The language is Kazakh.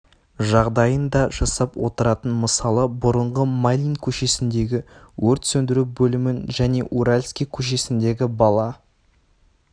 жағдайын да жасап отыратын мысалы бұрынғы майлин көшесіндегі өрт сөндіру бөлімін және уралский көшесіндегі бала